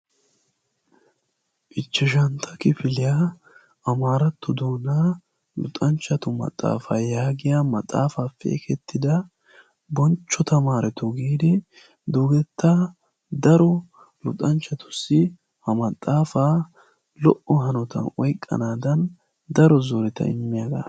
ichshsntta kifiliya amaaratto luxanchatu maxafaa yaagiya boncho tamaaretun imettida ha maxaafaa daro siraatan oyqanaada.